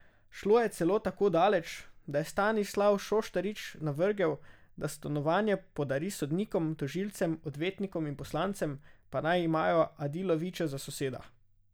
Šlo je celo tako daleč, da je Stanislav Šoštarič navrgel, da stanovanje podari sodnikom, tožilcem, odvetnikom in poslancem, pa naj imajo Adilovića za soseda.